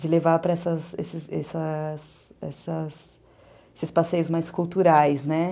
De levar para essas essas esses passeios mais culturais, né?